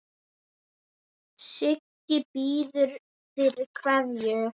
Siggi biður fyrir kveðju.